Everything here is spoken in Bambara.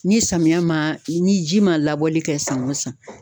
Ni samiya ma ni ji ma labɔli kɛ san o san